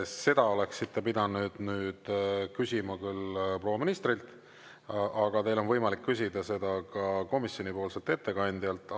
Seda oleksite pidanud nüüd küsima küll proua ministrilt, aga teil on võimalik küsida seda ka komisjonipoolselt ettekandjalt.